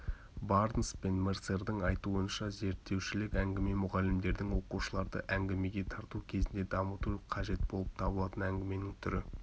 барнс пен мерсердің айтуынша зерттеушілік әңгіме мұғалімдердің оқушыларды әңгімеге тарту кезінде дамыту қажет болып табылатын әңгіменің түрі